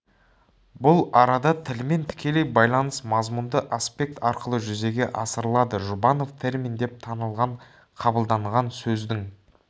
бұл арада тілмен тікелей байланыс мазмұнды аспект арқылы жүзеге асырылады жұбанов термин деп танылған қабылданған сөздің